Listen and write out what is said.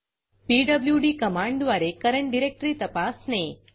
PWD कमांडद्वारे current directory तपासणे